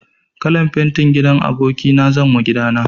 Kalan fenti gidan aboki na zanwa gida na.